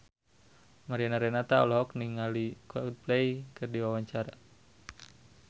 Mariana Renata olohok ningali Coldplay keur diwawancara